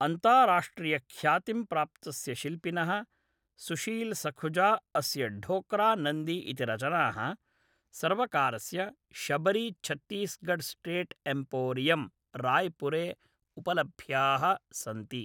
अन्ताराष्ट्रियख्यातिं प्राप्तस्य शिल्पिनः सुशील सखुजा अस्य ढोकरा नन्दी इति रचनाः सर्वकारस्य शबरीछत्तीसगढ़स्टेट् एम्पोरियम् रायपुरे उपलभ्याः सन्ति।